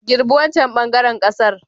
Girbi wancan ɓangaren ƙasar.